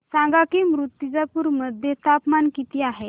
सांगा की मुर्तिजापूर मध्ये तापमान किती आहे